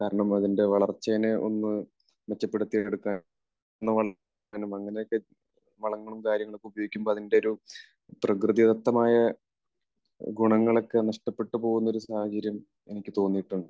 കാരണം അതിൻറെ വളർച്ചേനെ ഒന്ന് മെച്ചപ്പെടുത്തി എടുക്കാനോ അങ്ങനെയൊക്കെ വളങ്ങളും കാര്യങ്ങളൊക്കെ ഉപയോഗിക്കുമ്പോൾ അതിൻറെ ഒരു പ്രകൃതിദത്തമായ ഗുണങ്ങളൊക്കെ നഷ്ടപ്പെട്ടുപോകുന്ന ഒരു സാഹചര്യം എനിക്ക് തോന്നിയിട്ടുണ്ട്.